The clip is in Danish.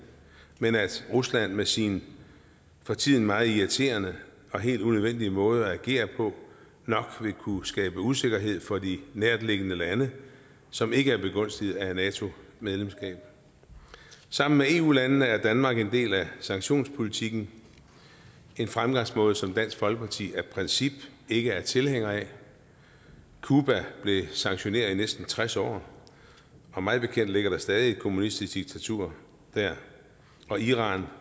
men at rusland med sin for tiden meget irriterende og helt unødvendige måde at agere på nok vil kunne skabe usikkerhed for de nærtliggende lande som ikke er begunstiget af et nato medlemskab sammen med eu landene er danmark en del af sanktionspolitikken en fremgangsmåde som dansk folkeparti af princip ikke er tilhænger af cuba blev sanktioneret i næsten tres år og mig bekendt ligger der stadig væk et kommunistisk diktatur der iran